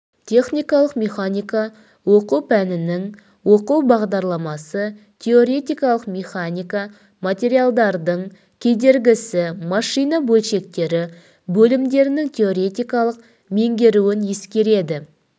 техникалық механика оқу пәнінің оқу бағдарламасы теоретикалық механика материалдардың кедергісі машина бөлшектері бөлімдерінің теоретикалық меңгеруін ескереді